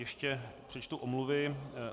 Ještě přečtu omluvy.